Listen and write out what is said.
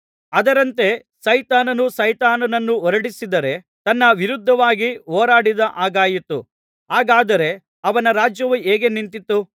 ಅದರಂತೆ ಸೈತಾನನು ಸೈತಾನನನ್ನು ಹೊರಡಿಸಿದರೆ ತನ್ನ ವಿರುದ್ಧವಾಗಿ ಹೋರಾಡಿದ ಹಾಗಾಯಿತು ಹಾಗಾದರೆ ಅವನ ರಾಜ್ಯವು ಹೇಗೆ ನಿಂತಿತು